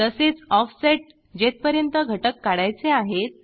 तसेचoffset जेथपर्यंत घटक काढायचे आहेत